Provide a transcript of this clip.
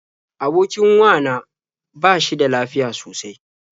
Abokin wa na ba shi da lafiya sosai.